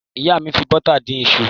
Ìyá mi fi bọ́tà dín iṣu.